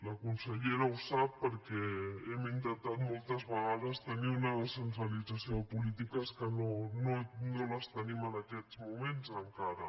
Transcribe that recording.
la consellera ho sap perquè hem intentat moltes vegades tenir una descentralització de polítiques que no les tenim en aquests moments encara